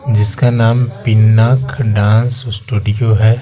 जिसका नाम Pinak dance studio है।